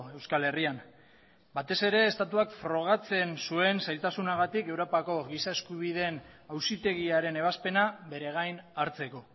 euskal herrian batez ere estatuak frogatzen zuen zailtasunagatik europako giza eskubideen auzitegiaren ebazpena bere gain hartzeko